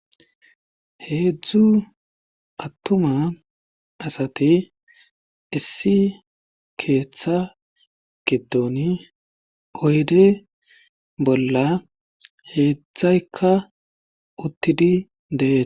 heedzdzu attuma asati issi keeththa gidon oyde bolla heedzdzaykka uttidi dee